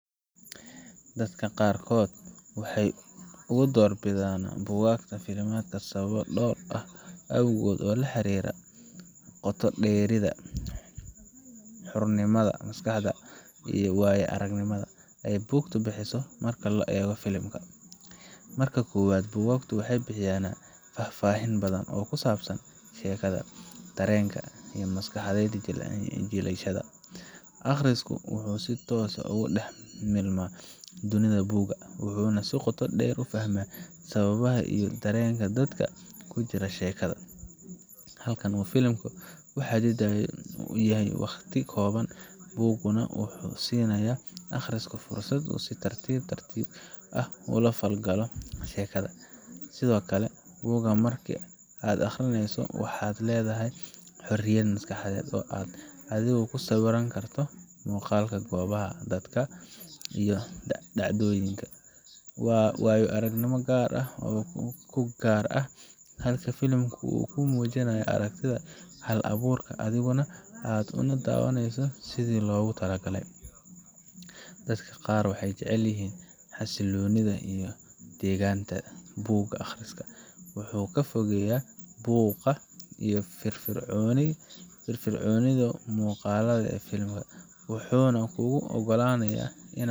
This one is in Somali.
Dadka qaarkood waxay u doorbidaan buugaagta filimada sababo dhowr ah awgood oo la xiriira qoto dheerida, xornimada maskaxda, iyo waaya aragnimada ay buugtu bixiso marka loo eego filim. Marka koowaad, buugaagtu waxay bixisaa faahfaahin badan oo ku saabsan sheekada, dareenka, iyo maskaxda jilayaasha. Akhristuhu wuxuu si toos ah ugu dhex milmaa dunida buugga, wuxuuna si qoto dheer u fahmaa sababaha iyo dareenka dadka ku jira sheekada. Halka filim uu ku xaddidan yahay waqti kooban, buugguna wuxuu siinayaa akhristaha fursad uu si tartiib tartiib ah ula falgalo sheekada. Sidoo kale, buugga marka aad akhrinayso waxaad leedahay xorriyad maskaxeed oo aad adigu ku sawiran karto muuqaalka goobaha, dadka, iyo dhacdooyinka. Waa waayo aragnimo gaar ah oo kuu gaar ah, halka filimku uu kuu muujiya aragtida hal abuuraha, adiguna aad uun daawanayso sidii loogu talagalay. Dadka qaar waxay jecel yihiin xasiloonida iyo degganaanta buug akhriska wuxuu kaa fogeeyaa buuqa iyo firfircoonida muuqaalka ee filimada, wuxuuna kuu oggolaanayaa inaad.